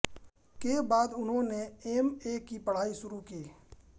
के बाद उन्होंने एम ए की पढ़ाई शुरू की